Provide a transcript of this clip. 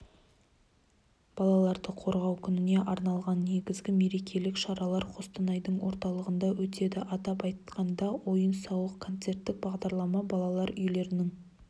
балаларды қорғау күніне арналған негізгі мерекелік шаралар қостанайдың орталығында өтеді атап айтқанда ойын-сауық-концерттік бағдарлама балалар үйлерінің